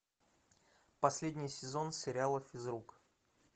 последний сезон сериала физрук